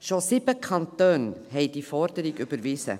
Schon 7 Kantone haben diese Forderung überwiesen.